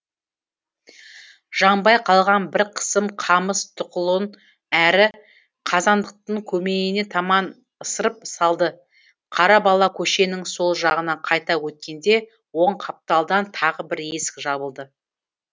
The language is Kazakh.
жаңбай қалған бір қысым қамыс тұқылын әрі қазандықтың көмейіне таман ысырып салды қара бала көшенің сол жағына қайта өткенде оң қапталдан тағы бір есік жабылды